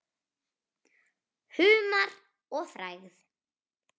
Humar og frægð?